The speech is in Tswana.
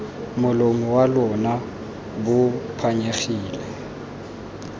molomo wa lona bo phanyegileng